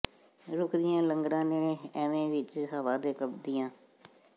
ਰੁੱਖ ਦੀਆਂ ਲਗਰਾਂ ਨੇ ਐਵੇਂ ਵਿਚ ਹਵਾ ਦੇ ਕੰਬਦੀਆਂ